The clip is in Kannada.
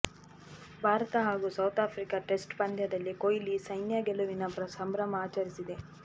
ಭಾರತ ಹಾಗೂ ಸೌತ್ ಆಫ್ರಿಕಾ ಟೆಸ್ಟ್ ಪಂದ್ಯದಲ್ಲಿ ಕೊಹ್ಲಿ ಸೈನ್ಯ ಗೆಲುವಿನ ಸಂಭ್ರಮ ಆಚರಿಸಿದೆ